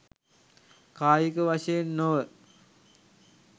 කායික වශයෙන් නොව